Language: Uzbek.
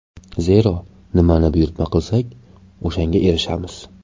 Zero, nimani buyurtma qilsak o‘shanga erishamiz.